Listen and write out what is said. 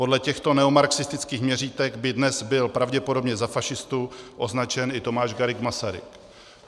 Podle těchto neomarxistických měřítek by dnes byl pravděpodobně za fašistu označen i Tomáš Garrigue Masaryk.